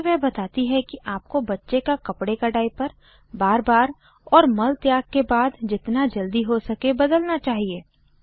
आगे वह कहती है कि आपको बच्चे का कपडे का डाइपर बार बार और मल त्याग के बाद जितना जल्दी हो सके बदलना चाहिए